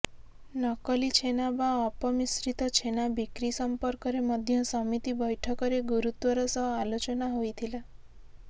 ନକଲି ଛେନା ବା ଅପମିଶ୍ରିତ ଛେନା ବିକ୍ରି ସମ୍ପର୍କରେ ମଧ୍ୟ ସମିତି ବ୘ଠକରେ ଗୁରୁତ୍ବର ସହ ଆଲୋଚନା ହୋଇଥିଲା